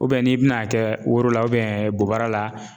n'i bina a kɛ woro la bobara la.